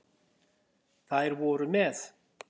Þær voru með